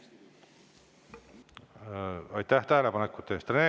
Aitäh tähelepanekute eest!